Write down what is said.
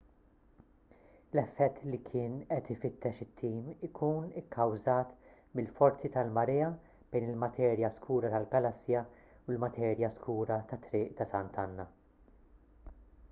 l-effett li kien qed ifittex it-tim ikun ikkawżat mill-forzi tal-marea bejn il-materja skura tal-galassja u l-materja skura tat-triq ta' sant'anna